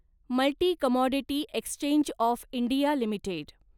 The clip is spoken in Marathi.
multi commodity exchange of India limited